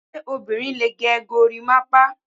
Ṣé obìnrin lè gẹ gorimapa?